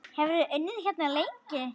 Hefurðu unnið hérna lengi?